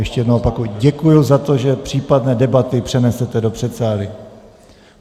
Ještě jednou opakuji - děkuji za to, že případné debaty přenesete do předsálí.